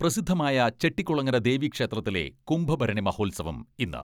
പ്രസിദ്ധമായ ചെട്ടികുളങ്ങര ദേവി ക്ഷേത്രത്തിലെ കുംഭഭരണി മഹോത്സവം ഇന്ന്.